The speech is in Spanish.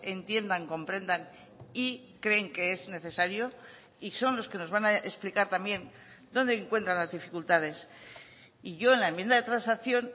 entiendan comprendan y creen que es necesario y son los que nos van a explicar también dónde encuentran las dificultades y yo en la enmienda de transacción